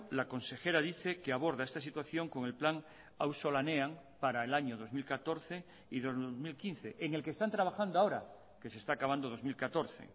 la consejera dice que aborda esta situación con el plan auzolanean para el año dos mil catorce y dos mil quince en el que están trabajando ahora que se está acabando dos mil catorce